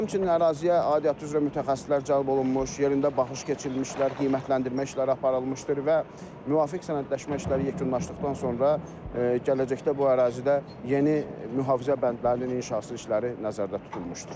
Həmçinin əraziyə aidiyyatı üzrə mütəxəssislər cəlb olunmuş, yerində baxış keçirilmişlər, qiymətləndirmə işləri aparılmışdır və müvafiq sənədləşmə işləri yekunlaşdıqdan sonra gələcəkdə bu ərazidə yeni mühafizə bəndlərinin inşası işləri nəzərdə tutulmuşdur.